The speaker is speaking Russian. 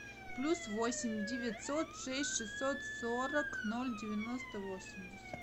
плюс восемь девятьсот шесть шестьсот сорок ноль девяносто восемьдесят